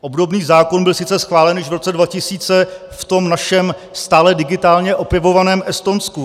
Obdobný zákon byl sice schválen již v roce 2000 v tom našem stále digitálně opěvovaném Estonsku.